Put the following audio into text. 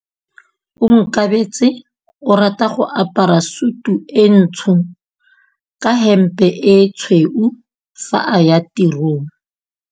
Onkabetse o rata go apara sutu e ntsho ka hempe e tshweu fa a ya tirong.